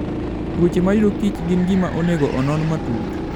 Tuoche mayudo kichen gima onego onon matut.